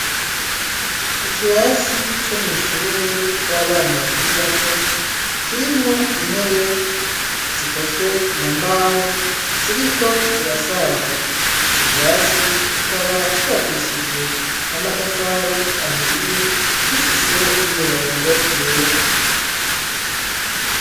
Ikirasi co mw'ishure ry'abana bakiri bato kirimwo intebe zikozwe mu mbaho, ziriko zirasaza. Ico kirasi kikaba cubakishijwe n'amatafari ahiye, gifise n'imirongo yera.